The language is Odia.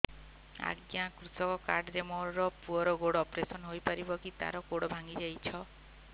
ଅଜ୍ଞା କୃଷକ କାର୍ଡ ରେ ମୋର ପୁଅର ଗୋଡ ଅପେରସନ ହୋଇପାରିବ କି ତାର ଗୋଡ ଭାଙ୍ଗି ଯାଇଛ